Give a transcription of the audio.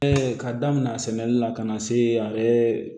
ka daminɛnsɛnni na ka na se